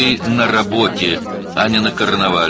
Sən işdəsən, karnavalda yox.